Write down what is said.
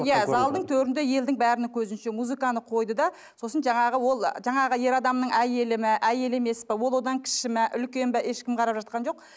иә залдың төрінде елдің бәрінің көзінше музыканы қойды да сосын жаңағы ол жаңағы ер адамның әйелі ме әйелі емес пе ол одан кіші ме үлкен бе ешкім қарап жатқан жоқ